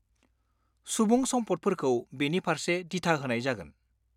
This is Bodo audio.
सुबुं सम्फदफोरखौ बेनि फारसे दिथा होनाय जागोन।